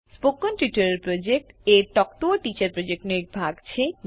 spoken tutorial project એ talk to a teacher પ્રોજેક્ટનો એક ભાગ છે